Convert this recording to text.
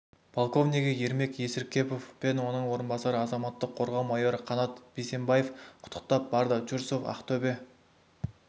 полковнигі ермек есіркепов пен оның орынбасары азаматтық қорғау майоры қанат бисембаев құттықтап барды чурсов ақтөбе